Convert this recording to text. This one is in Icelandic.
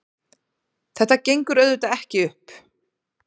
Þetta gengur auðvitað ekki upp.